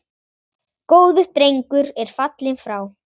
Góður drengur er fallinn frá.